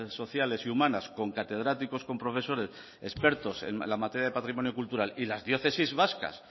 sociales y humanas con catedráticos con profesores expertos en la materia de patrimonio cultural y las diócesis vascas